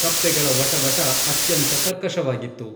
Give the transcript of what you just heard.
ಕಪ್ಪೆಗಳ ವಟ ವಟ ಅತ್ಯಂತ ಕರ್ಕಶವಾಗಿತ್ತು.